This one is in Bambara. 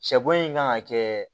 Sɛbo in kan ka kɛ